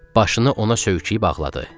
Başını ona söykəyib ağladı.